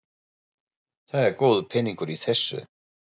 Það er góður peningur í þessu.